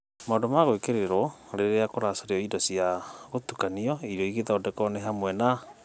Maũndũ magwĩkĩrĩrwo rĩrĩa kũracario indo cia gũtukanio irio igĩthondekwo nĩ hamwe na: